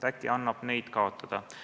Äkki annab neid kaotada.